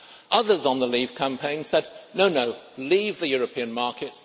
Others in the Leave campaign said No, no leave the European market.